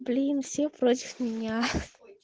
блин все против меня